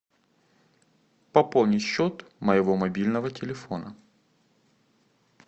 пополни счет моего мобильного телефона